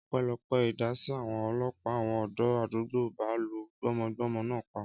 Ọpẹ́lọpẹ́ ìdásí àwọn ọlọ́pàá, àwọn ọ̀dọ́ àdúgbò ì bá lu gbọ́mọgbọ́mọ náà pa